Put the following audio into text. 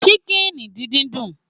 Ṣíkìnì díndín dùn